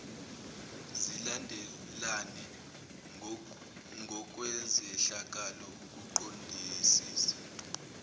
zilandelane ngokwezehlakalo ukuqondisisa